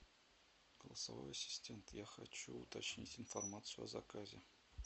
голосовой ассистент я хочу уточнить информацию о заказе